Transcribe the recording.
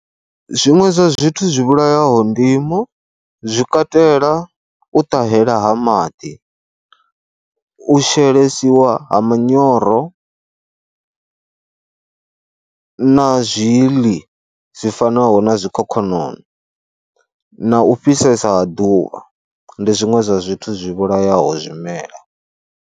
Zwiṅwe zwa zwithu zwi vhulayaho ndimo zwi katela u ṱahela ha maḓi, u shelesiwa ha manyoro na zwi ḽi zwi fanaho na zwikhokhonono na u fhisesa ha ḓuvha ndi zwiṅwe zwa zwithu zwi vhulayaho zwimela.